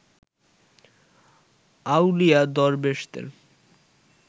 আউলিয়া দরবেশদের